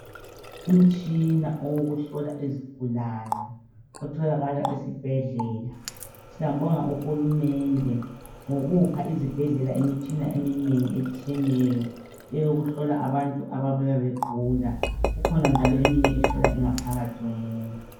Umtshina owokuhlola izigulane otholakala esibhedlela. Siyambonga uhulumende ngokupha izibhedlela Imtshina eminengi etshiyeneyo eyokuhlola abantu ababuya begula, ikhona njalo eminye ehlola ingaphakathi yomuntu.